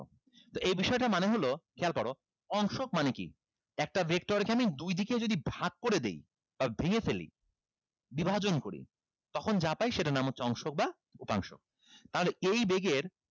তো এই বিষয়টার মানে হলো খেয়াল করো অংশক মানে কি একটা vector এখানে দুইদিকে যদি ভাগ করে দেই বা ভেঙে ফেলি বিভাজন করি তখন যা পাই সেটার নাম হচ্ছে অংশক বা উপাংশ তাহলে এই বেগের